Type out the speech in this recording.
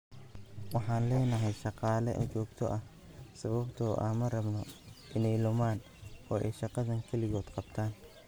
Waxaan leenahay shaqaale joogto ah sababtoo ah ma rabno inay lumaan oo ay shaqadan keligood qabtaan."